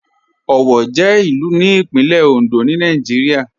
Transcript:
Owo jẹ ilù ní Ìpínlẹ̀ Òndó ni Nàìjírìà.